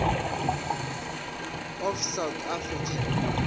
of south african